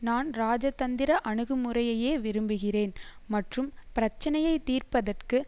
நான் ராஜதந்திர அணுகுமுறையையே விரும்புகிறேன் மற்றும் பிரச்சனையை தீர்ப்பதற்கு